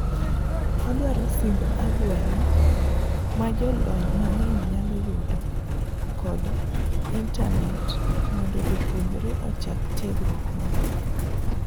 Odwaro simb agwela ma jolony mang'eny nyalo yudo kod internate mondo japuonjre ochak tiegruok maber.